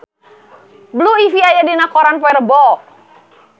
Blue Ivy aya dina koran poe Rebo